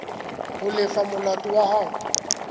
ho lefa molato wa hao